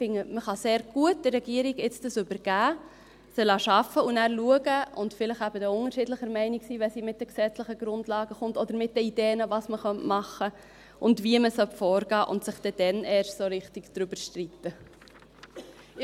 Vielmehr finde ich, man könne dies jetzt der Regierung sehr gut übergeben, sie arbeiten lassen, dann schauen und eben vielleicht unterschiedlicher Meinung sein, wenn sie mit den gesetzlichen Grundlagen kommt oder mit den Ideen, was man machen könnte und wie man vorgehen sollte, und dass dann erst richtig darüber gestritten wird.